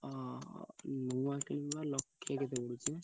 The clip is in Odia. ହଁ ନୂଆ କିଣିବା ଲକ୍ଷେ କେତେ ପଡୁଛି।